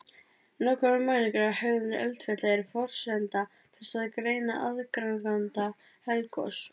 Nákvæmar mælingar á hegðun eldfjalla eru forsenda þess að greina aðdraganda eldgos.